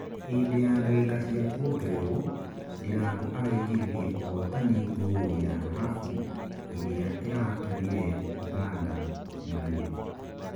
hĩndĩ ya ndagika cia kũongererwo, Ndirangu araingĩririe ũhotani ngoorũ ya dhahabu ĩria ĩratũmire ũganda marirĩ